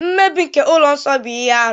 Mmebi nke ụlọ nsọ bụ ihe arụ.